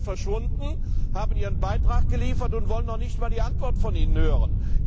Alle vier verschwunden. Sie haben ihren Beitrag abgeliefert und wollen noch nicht einmal die Antwort von Ihnen hören.